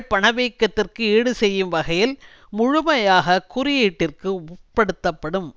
பணவீக்கத்திற்கு ஈடு செய்யும் வகையில் முழுமையாக குறியீட்டிற்கு உட்படுத்தப்படும்